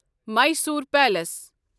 Mysore palace